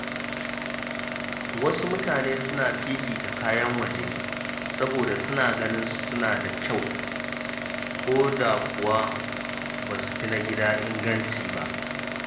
Wasu mutane suna fifita kayan waje saboda suna ganin suna da kyau, ko da kuwa ba su fi na gida inganci ba.